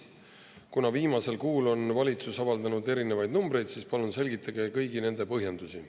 Kuna viimasel kuul on valitsus avaldanud erinevaid numbreid, siis palume esitada kõigi nende kohta põhjendusi.